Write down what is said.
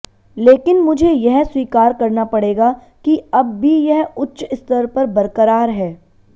लेकिन मुझे यह स्वीकार करना पड़ेगा कि अब भी यह उच्च स्तर पर बरकरार है